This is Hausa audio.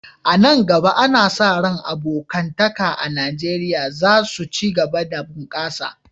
A nan gaba, ana sa ran abokantaka a Najeriya za su ci gaba da bunƙasa.